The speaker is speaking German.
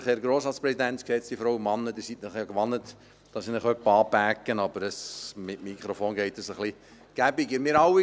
Sie sind es sich ja gewohnt, dass ich Sie ab und zu anschreie, aber mit Mikrofon funktioniert es etwas besser.